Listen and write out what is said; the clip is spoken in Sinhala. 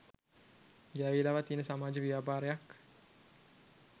ගෑවිලාවත් තියෙන සමාජ ව්‍යාපාරයක්